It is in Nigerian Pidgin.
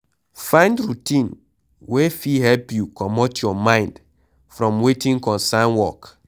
Find routine wey fit help you comot your mind from wetin concern work